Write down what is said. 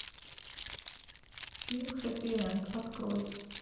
фильм хэппи энд открой